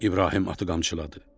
İbrahim atı qamçıladı.